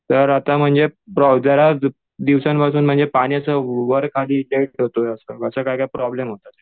तर आता म्हणजे जरा दिवसांपासून पाण्याचं वर खाली होतंय असं काय काय प्रॉब्लेम होतात.